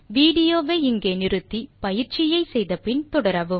விடியோவை இங்கே இடைநிறுத்தி கொடுத்த பயிற்சியை செய்ய முயற்சி செய்து பின் தொடரவும்